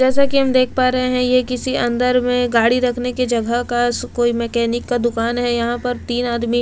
जैसा कि हम देख पा रहे हैं ये किसी अंदर में गाड़ी रखने के जगह का कोई मैकेनिक का दुकान है यहां पर तीन आदमी--